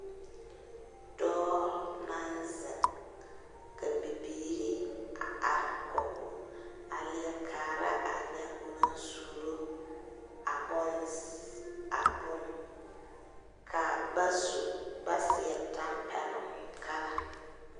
Doɔ na zeŋ ka bibiire are kɔge o. A lie kaara a nye o na suuro a bon ss, a bon. Ka ba su ba seɛ tampɛluŋ kala.